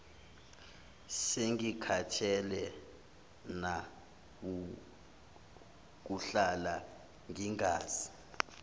sengikhathele nawukuhlala ngingazi